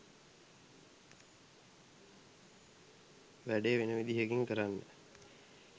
වැඩේ වෙන විදිහකින් කරන්න